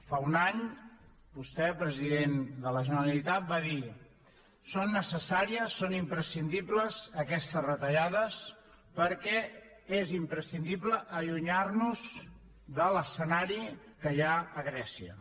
fa un any vostè president de la generalitat va dir són necessàries són imprescindibles aquestes retallades perquè és imprescindible allunyar nos de l’escenari que hi ha a grècia